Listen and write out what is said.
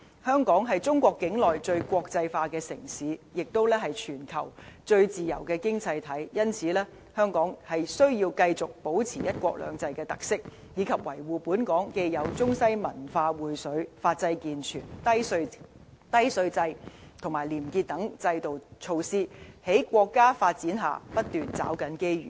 香港是中國境內最國際化的城市，亦是全球最自由的經濟體，因此，香港需要繼續保持"一國兩制"的特色，以及維護本港既有中西文化薈萃、法制健全、低稅制及廉潔等制度和措施，在國家發展下，不斷抓緊機遇。